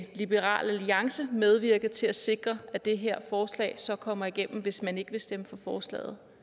liberal alliance medvirke til at sikre at det her forslag så kommer igennem hvis man ikke vil stemme for forslaget